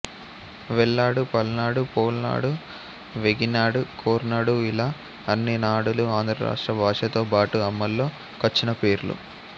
వెల్నాడు పల్నాడు పోల్నాడు వేగినాడు కోర్నాడుఇలా అన్ని నాడులు ఆంధ్రారాష్ట్ర భాషతో బాటు అమల్లో కొచ్చినపేర్లు